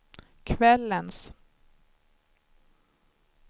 kvällens